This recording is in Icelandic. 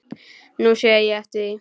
Nú sé ég eftir því.